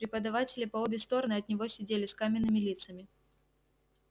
преподаватели по обе стороны от него сидели с каменными лицами